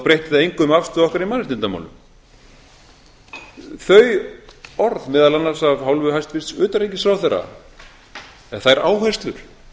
breytti það engu um afstöðu okkar í mannréttindamálum þau orð meðal annars af hálfu hæstvirts utanríkisráðherra eða þær áherslur